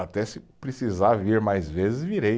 Até se precisar vir mais vezes, virei.